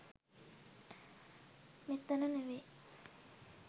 මෙතන නෙවෙයි